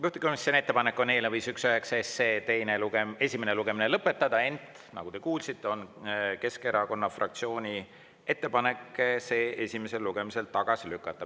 Juhtivkomisjoni ettepanek on eelnõu 519 esimene lugemine lõpetada, ent nagu te kuulsite, on Keskerakonna fraktsiooni ettepanek see esimesel lugemisel tagasi lükata.